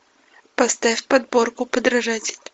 поставь подборку подражатель